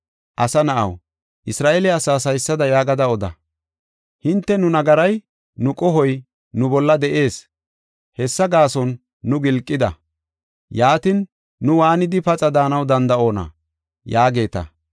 “Asa na7aw, Isra7eele asaas haysada yaagada oda: ‘Hinte, nu nagaray nu qohoy nu bolla de7ees; hessa gaason nu gilqida. Yaatin, nu waanidi paxa daanaw danda7oona?’ ” yaageeta.